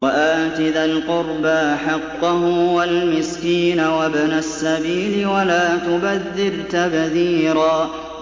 وَآتِ ذَا الْقُرْبَىٰ حَقَّهُ وَالْمِسْكِينَ وَابْنَ السَّبِيلِ وَلَا تُبَذِّرْ تَبْذِيرًا